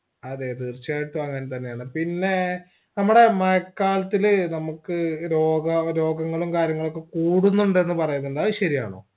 അതെ തീർച്ചയായിട്ടും അങ്ങൻ തന്നെയല്ലേ പിന്നേ നമ്മടെ മഴക്കാലത്തിൽ നമ്മക്ക് രോഗാവ രോഗങ്ങളും കാര്യങ്ങളും ഒകെ കൂടുന്നുണ്ട് എന്ന് പറയുന്നുണ്ട് അത് ശരിയാണോ